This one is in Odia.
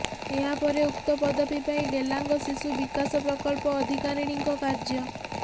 ଏହା ପରେ ଉକ୍ତ ପଦବୀ ପାଇଁ ଡ଼େଲାଙ୍ଗ ଶିଶୁ ବିକାଶ ପ୍ରକଳ୍ପ ଅଧିକାରୀଣିଙ୍କ କାର୍ଯ୍ୟ